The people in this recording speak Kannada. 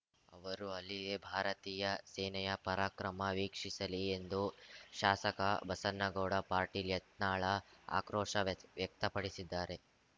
ಅವರು ಅಲ್ಲಿಯೇ ಭಾರತೀಯ ಸೇನೆಯ ಪರಾಕ್ರಮ ವೀಕ್ಷಿಸಲಿ ಎಂದು ಶಾಸಕ ಬಸನ್ನಗೌಡ ಪಾಟೀಲ್‌ ಯತ್ನಾಳ ಆಕ್ರೋಶ ವ್ಯಸ್ ವ್ಯಕ್ತಪಡಿಸಿದ್ದಾರೆ